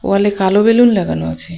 ওয়ালে কালো বেলুন লাগানো আছে.